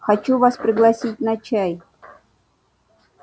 хочу вас пригласить на чай